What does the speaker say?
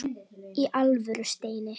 Í alvöru, Steini.